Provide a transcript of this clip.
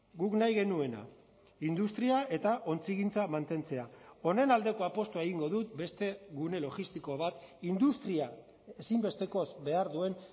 guk nahi genuena industria eta ontzigintza mantentzea honen aldeko apustua egingo dut beste gune logistiko bat industria ezinbestekoz behar duen